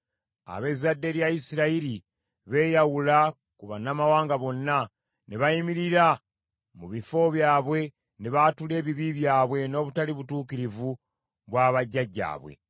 Ab’ezzadde lya Isirayiri beeyawula ku bannamawanga bonna, ne bayimirira mu bifo byabwe ne baatula ebibi byabwe n’obutali butuukirivu bwa bajjajjaabwe.